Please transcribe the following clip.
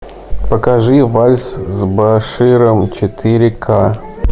покажи вальс с баширом четыре ка